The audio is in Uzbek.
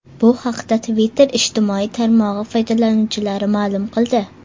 Bu haqda Twitter ijtimoiy tarmog‘i foydalanuvchilari ma’lum qildi.